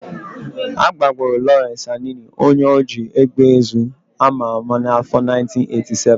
Agbagburu Lawrence Anini, onye oji égbèezu ama ama n'afọ 1987